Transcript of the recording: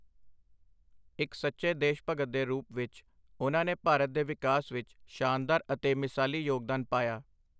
ਇੱਕ ਸੱਚੇ ਦੇਸ਼ਭਗਤ ਦੇ ਰੂਪ ਵਿੱਚ, ਉਨ੍ਹਾਂ ਨੇ ਭਾਰਤ ਦੇ ਵਿਕਾਸ ਵਿੱਚ ਸ਼ਾਨਦਾਰ ਅਤੇ ਮਿਸਾਲੀ ਯੋਗਦਾਨ ਪਾਇਆ।